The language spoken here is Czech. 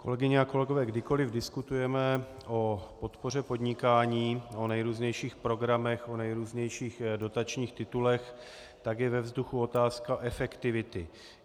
Kolegyně a kolegové, kdykoli diskutujeme o podpoře podnikání, o nejrůznějších programech, o nejrůznějších dotačních titulech, tak je ve vzduchu otázka efektivity.